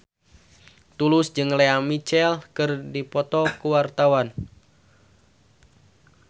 Tulus jeung Lea Michele keur dipoto ku wartawan